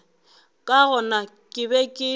ka gona ke be ke